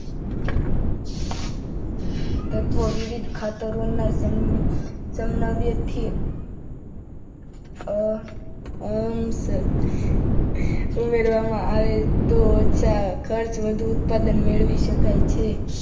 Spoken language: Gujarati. તત્વો વિવિધ ખાતરોના સમનવ્યથી ઉમેરવામાં આવે તો ઓછા ખર્ચ વધુ ઉત્પાદન મેળવી શકાય છે.